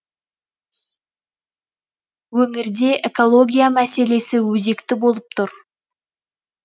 өңірде экология мәселесі өзекті болып тұр